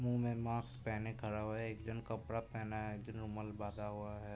मुँह में माक्स पेहने खरा हुआ है। एक जन कपड़ा पेहना है। जिन्ने रुमाल बांधा हुआ है।